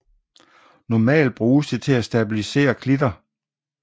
Lokalt bruger det til at stabilisere klitter